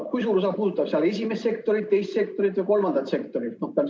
Kui suur osa puudutab seal esimest sektorit, teist sektorit ja kolmandat sektorit?